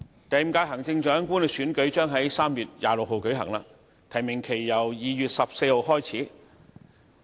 第五屆行政長官選舉將於3月26日舉行，提名期由2月14日開始。